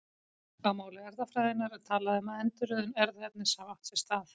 Á máli erfðafræðinnar er talað um að endurröðun erfðaefnis hafi átt sér stað.